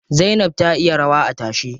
Zainab ta iya rawa a tashe.